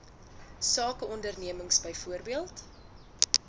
sake ondernemings byvoorbeeld